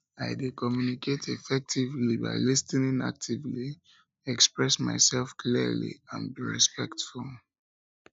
i dey communicate effectively by lis ten ing actively express myself clearly and being respectful